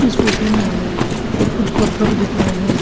इस फोटो में हमें कुछ पत्थर दिख रहे हैं।